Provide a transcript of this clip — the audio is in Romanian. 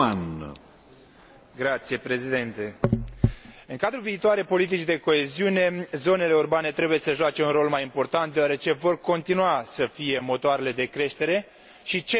În cadrul viitoarei politici de coeziune, zonele urbane trebuie să joace un rol mai important, deoarece vor continua să fie motoarele de creștere și centrele creative și inovatoare ale Uniunii.